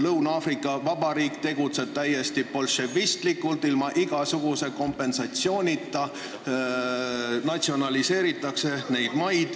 Lõuna-Aafrika Vabariik tegutseb täiesti bolševistlikult, ilma igasuguse kompensatsioonita natsionaliseeritakse neid maid.